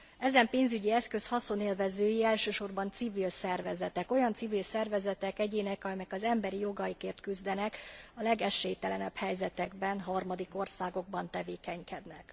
Ezen pénzügyi eszköz haszonélvezői elsősorban civil szervezetek, olyan civil szervezetek, egyének, amelyek az emberi jogokért küzdenek a legesélytelenebb helyzetekben, harmadik országokban tevékenykednek.